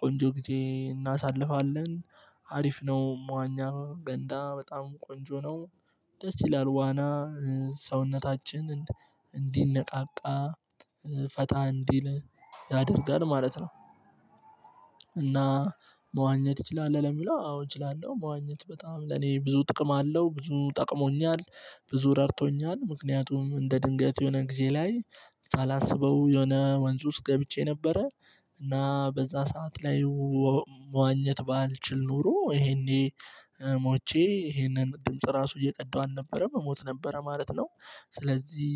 ቆንጆ ጊዜ እናሳልፋለን። አሪፍ ነው መዋኛ ገንዳ በጣም ቆንጆ ነው። ደስ ይላል ዋና ሰውነታችን እንዲነቃቃ ፈታ እንዲል ያደርጋል ማለት ነው። እና መዋኘት እችላለሁ ለሚለው አዎ እችላለሁ መዋኘት በጣም ለኔ ብዙ ጥቅም አለው ብዙ ጠቅሞኛል። ብዙ ረድቶኛል ምክንያቱም እንደ ድንገት የሆነ ጊዜ ላይ ሳላስበው የሆነ ወንዝ ውስጥ ገብቼ ነበረ። እና በዛ ሰዓት ላይ መዋኘት ባልችል ኖሮ ይሄኔ ሞቼ ይሄንን ድምጽ ራሱ እየቀዳሁ አልነበረም ሞት ነበረ ማለት ነው። ስለዚህ